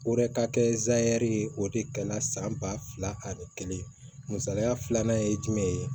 O yɛrɛ ka kɛ zani ye o de kɛ la san ba fila ani kelen misaliya filanan ye jumɛn ye